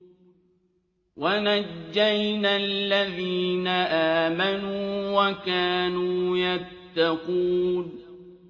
وَنَجَّيْنَا الَّذِينَ آمَنُوا وَكَانُوا يَتَّقُونَ